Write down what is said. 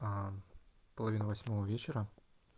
аа половина восьмого вечера